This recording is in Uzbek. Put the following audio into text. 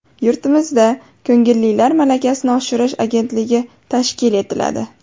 Yurtimizda Ko‘ngillilar malakasini oshirish agentligi tashkil etiladi.